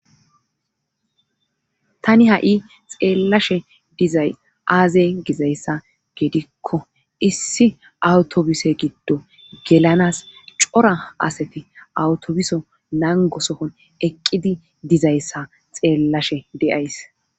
Tani ha7i xeellashe dizay aaze gizayssa geedikko issi awutobise giddo gelanas cora asati awutobuso nangosokon eqqidi dizayssa xeellashe deyays.